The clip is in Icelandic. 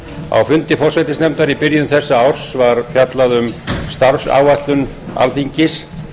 á fundi forsætisnefndar í byrjun þessa árs var fjallað um starfsáætlun alþingis